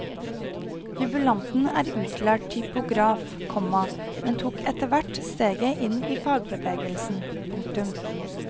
Jubilanten er utlært typograf, komma men tok etter hvert steget inn i fagbevegelsen. punktum